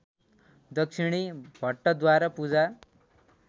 दक्षिणी भट्टद्वारा पूजा